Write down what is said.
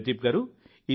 ప్రదీప్ గారూ